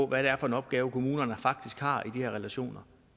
hvad det er for en opgave kommunerne faktisk har i de relationer